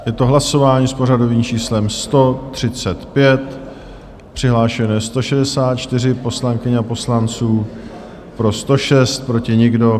Je to hlasování s pořadovým číslem 135, přihlášeno je 164 poslankyň a poslanců, pro 106, proti nikdo.